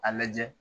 A lajɛ